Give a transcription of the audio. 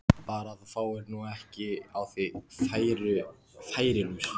Bara að þú fáir nú ekki á þig færilús!